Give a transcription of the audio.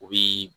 U bi